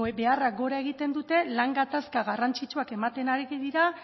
beharrak gora egiten dute lan gatazka garrantzitsuak ematen ari dira